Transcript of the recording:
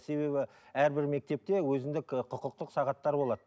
себебі әрбір мектепте өзіндік і құқықтық сағаттар болады